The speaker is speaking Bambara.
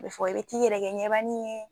Bɛ fɔ i be t'i yɛrɛ kɛ ɲɛbanin ye